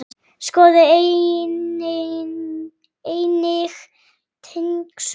Skoðið einnig tengd svör